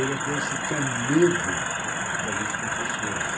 Onde até se tinha medo de alguns professores.